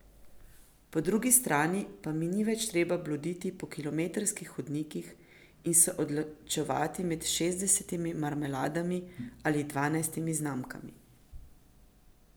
Po drugi strani pa mi ni več treba bloditi po kilometrskih hodnikih in se odločevati med šestdesetimi marmeladami ali dvanajstimi znamkami.